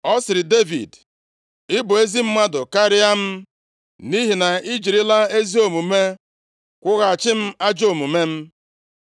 Ọ sịrị Devid, “Ị bụ ezi mmadụ karịa m, + 24:17 \+xt Jen 38:26\+xt* nʼihi na i jirila ezi omume kwụghachi m ajọ omume m.